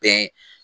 Bɛn